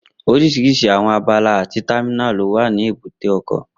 Oríṣiríṣi àwọn abala àti támínà ló wà ní èbúté ọkọ̀